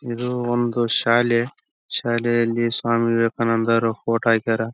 ಹಾಡು ಏನಾದ್ರೂ ಬರದ್ರೆ ಅದನ್ನು ನೋಟೀಸ್ ಬೋರ್ಡ್ ಮ್ಯಾಲೆ ಹಾಕ್ತಾಇದ್ದ್ರು. ಅಹ್ ಡೇ ಕಾರಿಡಾರ್ ಮ್ಯಾಲೆ ಚೆನ್ನಾಗಿ ಆಟಾಡ್ಕೊಂಡು--